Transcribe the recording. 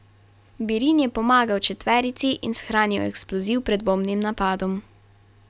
Birin je pomagal četverici in shranil eksploziv pred bombnim napadom.